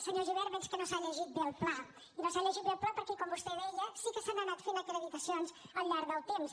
senyor gibert veig que no s’ha llegit bé el pla i no s’ha llegit bé el pla perquè com vostè deia sí que s’han anat fent acreditacions al llarg del temps